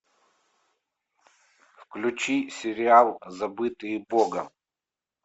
включи сериал забытые богом